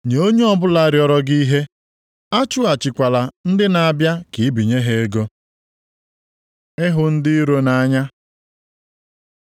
Nye onye ọbụla rịọrọ gị ihe. Achụghachikwala ndị na-abịa ka i binye ha ego. Ịhụ ndị iro nʼanya